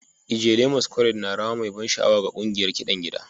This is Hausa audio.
Ijele masquerade na rawa mai ban sha'awa ga ƙungiyar kiɗan gida